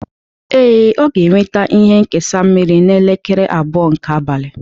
Ee, Ọ ga-eweta ihe nkesa mmiri n'elekere abụọ nke abalị